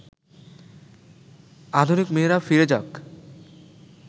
আধুনিক মেয়েরা ফিরে যাক